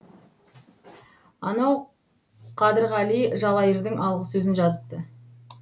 анау қадырғали жалайырдың алғысөзін жазыпты